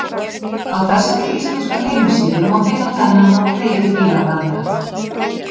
Á þessari íslensku heimasíðu má finna þennan og fleiri fílabrandara.